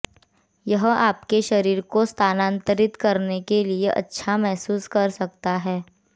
यह आपके शरीर को स्थानांतरित करने के लिए अच्छा महसूस कर सकता है